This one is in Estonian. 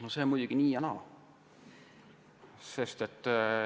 Sellega on muidugi nii ja naa.